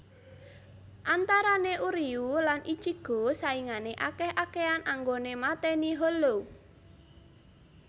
Antarane Uryuu lan Ichigo saingan akeh akehan anggoné matèni hollow